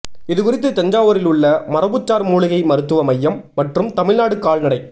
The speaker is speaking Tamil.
இது குறித்து தஞ்சாவூரில் உள்ள மரபுசார் மூலிகை மருத்துவ மையம் மற்றும் தமிழ்நாடு கால்நடை